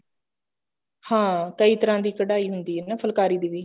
ਹਾਂ ਕਈ ਤਰ੍ਹਾਂ ਦੀ ਕਢਾਈ ਹੁੰਦੀ ਹੈ ਨਾ ਫੁਲਕਾਰੀ ਦੀ ਵੀ